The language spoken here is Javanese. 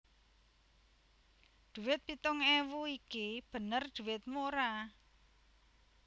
Dhuwit pitung ewu iki bener dhuwitmu ora